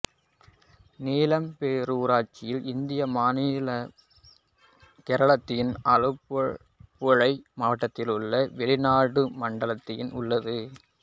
நீலம்பேரூர் ஊராட்சி இந்திய மாநிலமான கேரளத்தின் ஆலப்புழை மாவட்டத்திலுள்ள வெளியநாடு மண்டலத்தில் உள்ளது